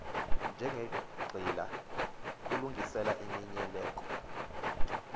njengenqila kukulungiselela iminikelo